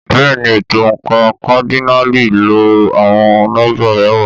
Bẹ́ẹ̀ni, ètò oǹkà kádínààlì ń lo àwọn nọ́mbà mẹ́wàá.